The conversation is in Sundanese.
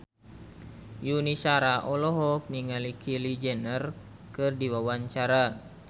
Yuni Shara olohok ningali Kylie Jenner keur diwawancara